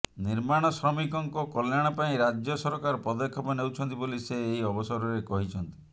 ନିର୍ମାଣ ଶ୍ରମିକଙ୍କ କଲ୍ୟାଣ ପାଇଁ ରାଜ୍ୟ ସରକାର ପଦକ୍ଷେପ ନେଉଛନ୍ତି ବୋଲି ସେ ଏହି ଅବସରରେ କହିଛନ୍ତି